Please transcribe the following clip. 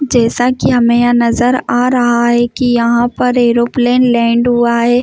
जैसा कि हमें यहां नजर आ रहा है कि यहां पर एरोप्लेन लैंड हुआ है।